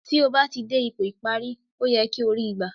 Tí ó bá ti dé ipò ìparí, ó yẹ kí o ri í gbà